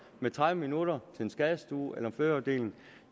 med tredive minutter til en skadestue eller en fødeafdeling